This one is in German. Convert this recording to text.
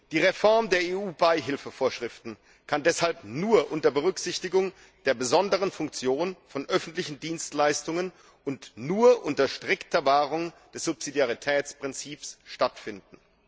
Die Reform der EU Beihilfevorschriften kann deshalb nur unter Berücksichtigung der besonderen Funktion von öffentlichen Dienstleistungen und nur unter strikter Wahrung des Subsidiaritätsprinzips stattfinden.